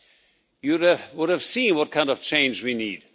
he would have seen what kind of change we need.